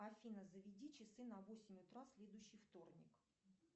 афина заведи часы на восемь утра в следующий вторник